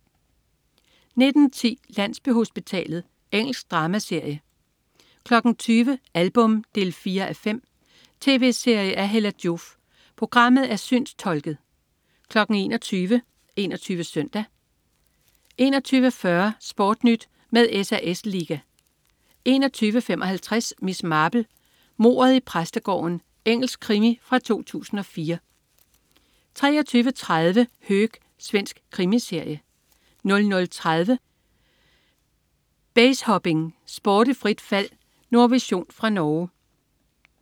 19.10 Landsbyhospitalet. Engelsk dramaserie 20.00 Album 4:5. Tv-serie af Hella Joof. Programmet er synstolket 21.00 21 Søndag 21.40 SportNyt med SAS Liga 21.55 Miss Marple: Mordet i præstegården. Engelsk krimi fra 2004 23.30 Höök. Svensk krimiserie 00.30 Basehopping. Sport i frit fald. Nordvision fra Norge